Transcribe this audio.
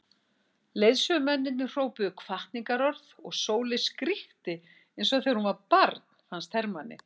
Leiðsögumennirnir hrópuðu hvatningarorð og Sóley skríkti eins og þegar hún var barn fannst Hermanni.